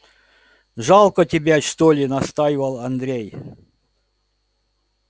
жалко тебе что ли настаивал андрей